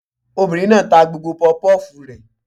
Obìnrin náà ta gbogbo pọpọ́fùù rẹ̀